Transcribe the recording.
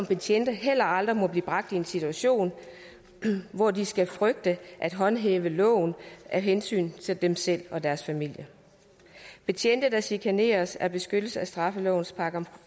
betjente heller aldrig blive bragt i en situation hvor de skal frygte at håndhæve loven af hensyn til dem selv og deres familie betjente der chikaneres er beskyttet af straffelovens §